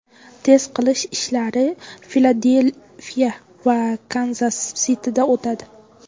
Test qilish ishlari Filadelfiya va Kanzas Sitida o‘tadi.